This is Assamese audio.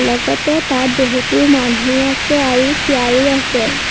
লগতে তাত বহুতো মানুহো আছে আৰু চিয়াৰো আছে।